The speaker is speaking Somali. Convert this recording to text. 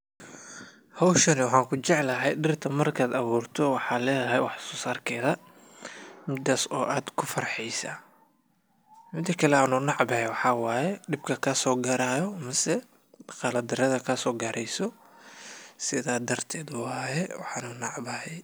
Howshani waxan ku jeclaahy dhirta markad aburto waxad helesa dhirta wax so sarkeda midas oo aad ku farhesa . Mida kale aan u decbahay maxa waye dib ka kaso garaya mise guldarada kaso gareyso sidhaa darted waye waana dec bahay.